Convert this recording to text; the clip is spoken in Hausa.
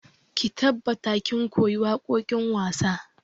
Ki tabbata kin koyi waƙoƙin wasa!